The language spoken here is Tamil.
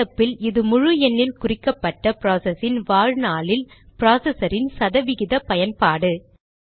நடப்பில் இது முழு எண்ணில் குறிக்கப்பட்ட ப்ராசஸின் வாழ்நாளில் ப்ராசஸரின் சத விகித பயன்பாடு